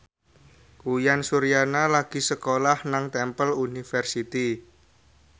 Uyan Suryana lagi sekolah nang Temple University